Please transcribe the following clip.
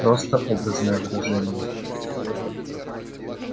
просто образное выражение